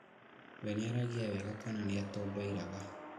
Wee nĩaragia wega kana nĩatondoiraga